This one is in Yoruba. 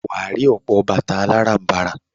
Wà á rí ọ̀pọ̀ bàtà aláràm̀barà.